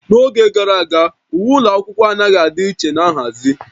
N'oge gara aga, uwe ụlọ akwụkwọ anaghị adị iche na nhazi